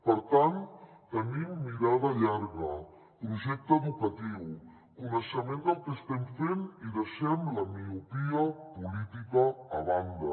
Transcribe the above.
per tant tenim mirada llarga projecte educatiu coneixement del que estem fent i deixem la miopia política a banda